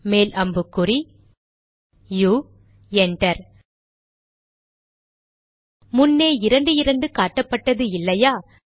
மேல் அம்புக்குறி U enter முன்னே இரண்டு இரண்டு காட்டப்பட்டது இல்லையா